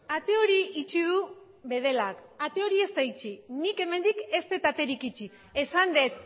ate hori itxi du bedelak ate hori ez da itxi nik hemendik ez dut aterik itxi esan dut